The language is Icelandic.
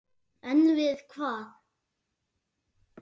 En við hvað?